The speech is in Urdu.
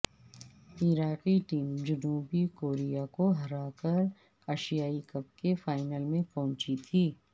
عراقی ٹیم جنوبی کوریا کو ہرا کر ایشیائی کپ کے فائنل میں پہنچی تھی